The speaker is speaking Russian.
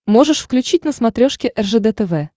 можешь включить на смотрешке ржд тв